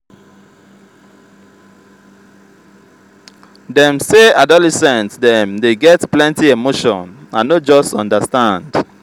dem say adolescent dem dey get plenty emotion i no just understand.